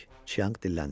Çianq dilləndi.